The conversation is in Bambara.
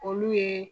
Olu ye